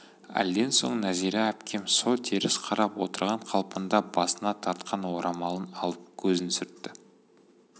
әлден соң нәзира әпкем со теріс қарап отырған қалпында басына тартқан орамалын алып көзін сүртті